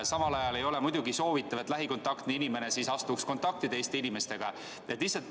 Samal ajal ei ole muidugi soovitatav, et lähikontaktne inimene astuks kontakti teiste inimestega.